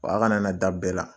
Wa a kana na da bɛɛ la